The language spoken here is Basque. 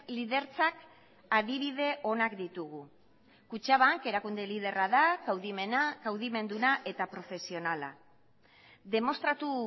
lidertzak adibide onak ditugu kutxabank erakunde liderra da kaudimena kaudimenduna eta profesionala demostratu